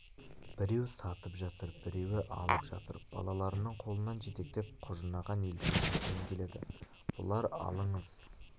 біреу сатып жатыр біреу алып жатыр балаларының қолынан жетектеп құжынаған елдің арасымен келеді бұлар алыңыз